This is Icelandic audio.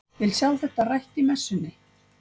Vil sjá þetta rætt í messunni!